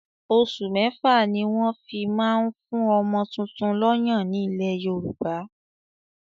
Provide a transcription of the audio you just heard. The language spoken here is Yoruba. Osù mẹ́fà ni wọ́n fi ń ma ń fún ọmọ tuntun lọ́yàn ní ilẹ̀ Yorùbá.